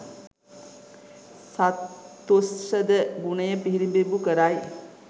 සත්තුස්සද ගුණය පිළිබිඹු කරයි